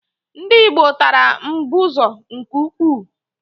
Ndị gboo tara mbụzọ nke ukwuu.